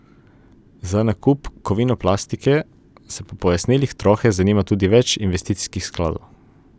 Za nakup Kovinoplastike se po pojasnilih Trohe zanima tudi več investicijskih skladov.